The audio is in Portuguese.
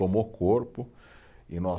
Tomou corpo e nós